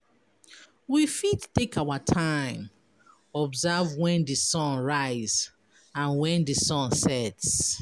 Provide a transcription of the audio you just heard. We fit take our time observe when di sun rise and when di sun sets